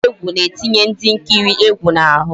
Ejije egwu na-etinye ndị nkiri egwu n'ahụ